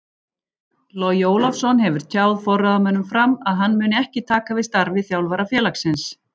Logi Ólafsson hefur tjáð forráðamönnum FRAM að hann muni ekki taka við starfi þjálfara félagsins.